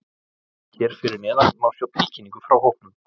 Hér að neðan má sjá tilkynningu frá hópnum.